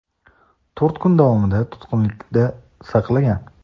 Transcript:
to‘rt kun davomida tutqunlikda saqlagan.